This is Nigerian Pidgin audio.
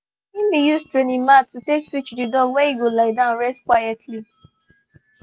he been use training mat to take teach the dog where e go lie down rest quietly